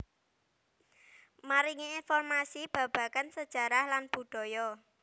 Maringi informasi babagan sejarah lan budaya